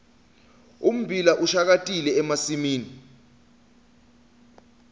ummbila ushakatile emasimini